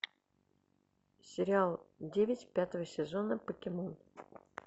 сериал девять пятого сезона покемон